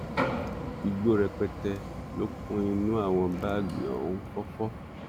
igbó rẹpẹtẹ ló kún inú àwọn báàgì ohun fọfọ